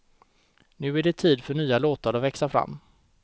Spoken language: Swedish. Nu är det tid för nya låtar att växa fram.